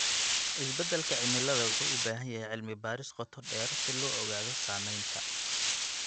Isbedelka cimilada wuxuu u baahan yahay cilmi baaris qoto dheer si loo ogaado saameynta.